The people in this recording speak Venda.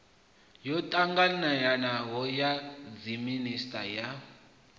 yo ṱanganelanaho ya dziminisiṱa ya